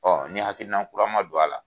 Ɔn ni hakilinan kura ma don a la